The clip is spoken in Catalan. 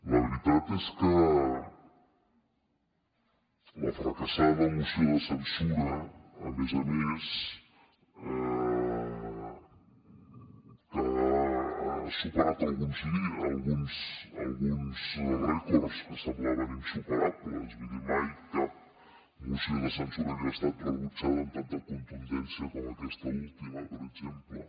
la veritat és que la fracassada moció de censura a més a més ha superat alguns rècords que semblaven insuperables vull dir mai cap moció de censura havia estat rebutjada amb tanta contundència com aquesta última per exemple